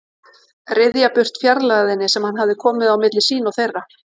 Ryðja burt fjarlægðinni sem hann hafði komið á milli sín og þeirra.